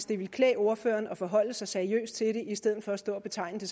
det ville klæde ordføreren at forholde sig seriøst til det i stedet for at stå og betegne det